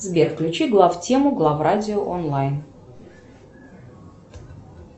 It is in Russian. сбер включи глав тему глав радио онлайн